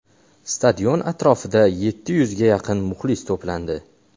Stadion atrofida yetti yuzga yaqin muxlis to‘plandi.